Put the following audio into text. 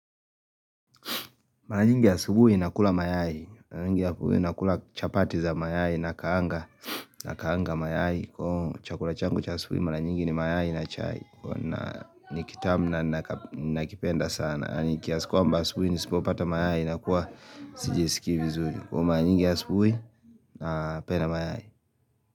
Mara nyingi asubuhi nakula mayai. Mara nyingi asubuhi nakula chapati za mayai nakaanga mayai. Kwa chakula changu cha asubuhi mara nyingi ni mayai na chai. Kuwa na nikitamu na nakipenda sana. Kwamba asubuhi nisipopata mayai nakuwa sijisikii vizuri. Kwa mara nyingi asubuhi napenda mayai.